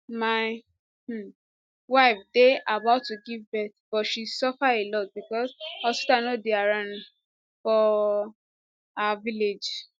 my um wife dey about to give birth but she suffer a lot becos hospital no dey around for um our village